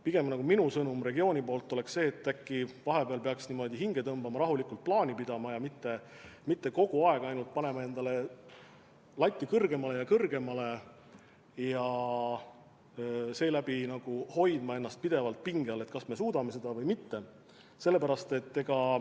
Pigem oleks minu sõnum regiooni poolt see, et äkki vahepeal peaks hinge tõmbama, rahulikult plaani pidama ja mitte kogu aeg endale latti kõrgemale ja kõrgemale tõstma ja seeläbi hoidma ennast pidevalt pinge all, kas me suudame seda või mitte.